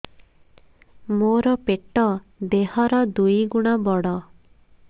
ମୋର ପେଟ ଦେହ ର ଦୁଇ ଗୁଣ ବଡ